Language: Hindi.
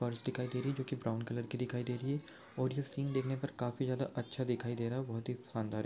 फर्श दिखाई देरी जो की ब्राउन कलर की दिखाई दे रही है और ये सीन देखने पर काफी ज्यादा अच्छा दिखाई दे रहा है बहुत ही शानदार--